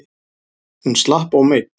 Hún slapp ómeidd.